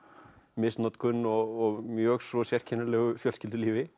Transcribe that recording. misnotkun og mjög svo sérkennilegu fjölskyldulífi